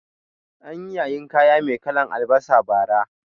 Anyi yayin kaya mai kalan albasa bara